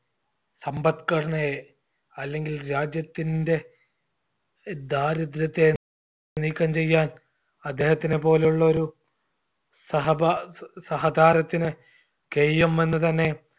സമ്പത്‌ഘടനയെ അല്ലെങ്കിൽ രാജ്യത്തിൻറെ ദാരിദ്ര്യത്തെ നീക്കം ചെയ്യാൻ അദ്ദേഹത്തിനെ പോലുള്ളൊരു സഹപാ സഹതാരത്തിന് കയ്യും എന്ന് തന്നെ